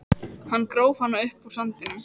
Hann gróf hana upp úr sandinum!